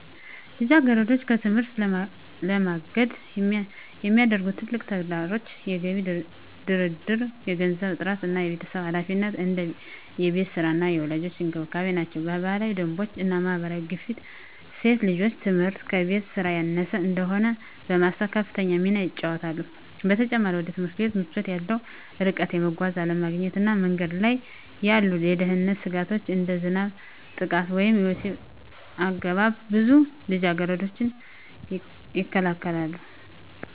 ልጃገረዶችን ከትምህርት ለማገድ የሚያደርጉ ትልቁ ተግዳሮቶች የገቢ ድርድር፣ የገንዘብ እጥረት እና የቤተሰብ ኃላፊነት (እንደ የቤት ሥራ እና የወላጆች እንክብካቤ) ናቸው። የባህላዊ ደንቦች እና የማህበረሰብ ግፊት ሴት ልጆች ትምህርት ከቤት ሥራ ያነሰ እንደሆነ በማሰብ ከፍተኛ ሚና ይጫወታሉ። በተጨማሪም፣ ወደ ትምህርት ቤት ምቾት ያለው ርቀት፣ የመጓጓዣ አለመገኘት እና በመንገድ ላይ ያሉ የደህንነት ስጋቶች (እንደ ዝናብ፣ ጥቃት ወይም የወሲብ አገባብ) ብዙ ልጃገረዶችን ይከለክላሉ።